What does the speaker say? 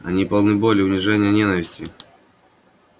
они полны боли унижения ненависти